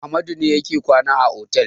Amadu ne yake kwana a otel.